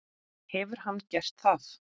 Hefur hann gert það?